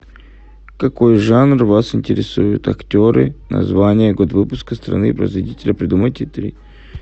какой жанр вас интересует актеры название год выпуска страны производителя придумайте три